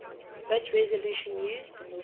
bit resolution used